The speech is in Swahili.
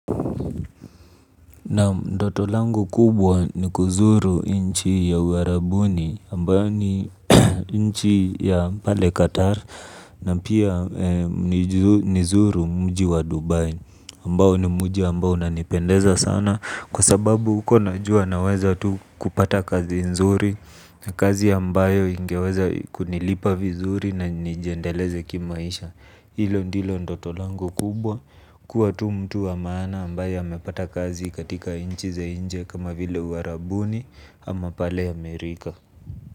Naam ndoto langu kubwa ni kuzuru inchi ya uwarabuni ambayo ni inchi ya pale Qatar na pia nizuru mji wa Dubai ambao ni mji ambao unanipendeza sana kwa sababu huko najua naweza tu kupata kazi nzuri na kazi ambayo ingeweza kunilipa vizuri na nijiendeleze kimaisha. Hilo ndilo ndoto lango kubwa kuwa tu mtu wa maana ambaye amepata kazi katika inchi za inje kama vile uwarabuni ama pale Amerika.